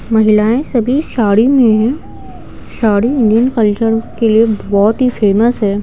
महिलाएं सभी साड़ी में हैं साड़ी इंडियन कल्चर के लिए बहुत ही फेमस है।